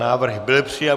Návrh byl přijat.